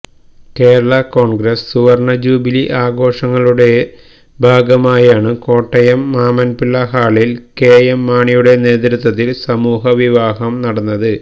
കേരള കോൺഗ്രസ് സുവർണ ജൂബിലി ആഘോഷങ്ങളുടെ ഭാഗമായാണു കോട്ടയം മാമന്മാപ്പിള ഹാളിൽ കെ എം മാണിയുടെ നേതൃത്വത്തിൽ സമൂഹവിവാഹം നടന്നത്